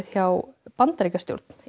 hjá Bandaríkjastjórn